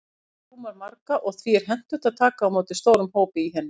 Kirkjan rúmar marga, og því er hentugt að taka á móti stórum hópum í henni.